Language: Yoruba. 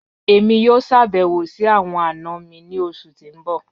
Emi yoo ṣabẹwo si awọn ana mi ni oṣu ti n bọ.